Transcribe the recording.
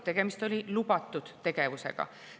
Tegemist oli lubatud tegevusega.